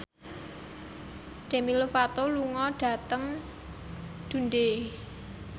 Demi Lovato lunga dhateng Dundee